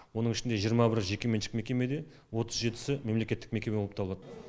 оның ішінде жиырма бірі жекеменшік мекеме де отыз жетісі мемлекеттік мекеме болып табылады